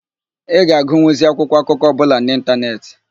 Ị ga-agụnwuzi akwụkwọ akụkọ ọbụla n'ịntanetị.